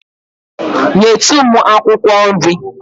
Nyetu m akwụkwọ nri.